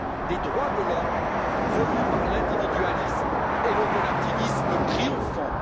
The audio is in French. des droits de l'homme, revue par l'individualisme et le relativisme triomphants.